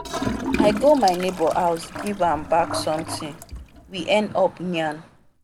i go my neighbor house give am back sometin we end up yarn.